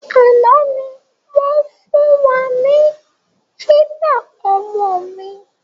Àná ni wọn fun wá ní fídà ọmọ mi.